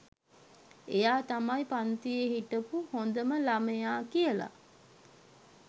එයා තමයි පන්තියේ හිටපු හොඳම ළමයා කියලා